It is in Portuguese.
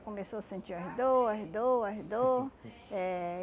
começou a sentir as dor, as dor, as dor eh